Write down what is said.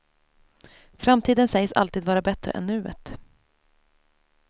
Framtiden sägs alltid vara bättre än nuet.